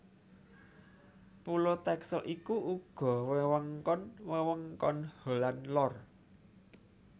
Pulo Texel iku uga wewengkon wewengkon Holland Lor